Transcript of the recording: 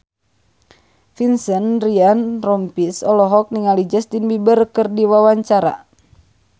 Vincent Ryan Rompies olohok ningali Justin Beiber keur diwawancara